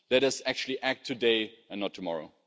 Let us actually act today and not tomorrow.